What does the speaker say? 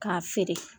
K'a feere